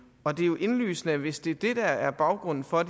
og det er jo indlysende hvis det er det der er baggrunden for